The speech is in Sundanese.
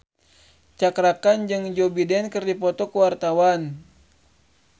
Cakra Khan jeung Joe Biden keur dipoto ku wartawan